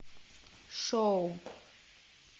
шоу